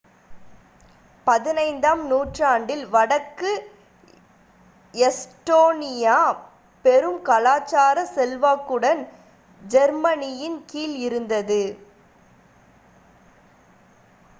15 ஆம் நூற்றாண்டில் வடக்கு எஸ்டோனியா பெரும் கலாச்சார செல்வாக்குடன் ஜெர்மனியின் கீழ் இருந்தது